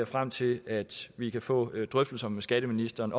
frem til at vi kan få drøftelser med skatteministeren